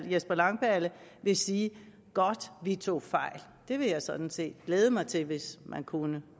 jesper langballe vil sige godt vi tog fejl jeg vil sådan set glæde mig til det hvis man kunne